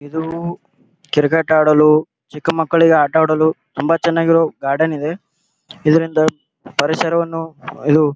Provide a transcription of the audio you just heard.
ಇದು ಕ್ರಿಕೆಟ್ ಆಡಲು ಚಿಕ್ಕಮಕ್ಕಳಿಗೆ ಆಟ ಆಡಲು ತುಂಬಾ ಚನ್ನಾಗಿರೋ ಗಾರ್ಡನ್ ಇದೆ ಇದರಿಂದ ಪರಿಸರವನ್ನು ಇದು--